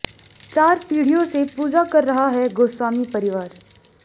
चार पीढ़ियों से पूजा कर रहा है गोस्वामी परिवार